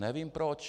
Nevím proč.